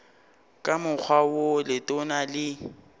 ka mokgwa wo letona le